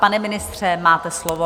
Pane ministře, máte slovo.